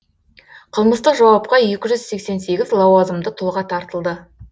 қылмыстық жауапқа екі жүз сексен сегіз лауазымды тұлға тартылды